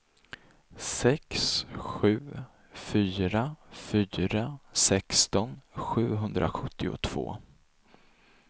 sex sju fyra fyra sexton sjuhundrasjuttiotvå